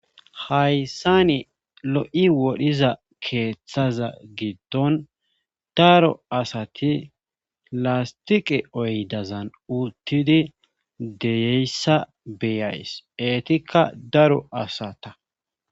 Hayssani lo7i wodhiza keeththaza giddon daro asati lastiqe oydazan uttidi deyeyssa beyays etikka daro asata.